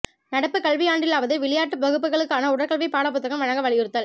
நடப்பு கல்வியாண்டிலாவது விளையாட்டு வகுப்புகளுக்கான உடற்கல்வி பாட புத்தகம் வழங்க வலியுறுத்தல்